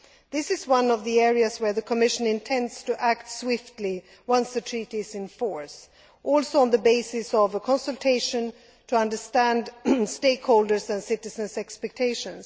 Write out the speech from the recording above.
This is one of the areas where the Commission intends to act swiftly once the Treaty is in force also on the basis of consultation to understand stakeholders' and citizens' expectations.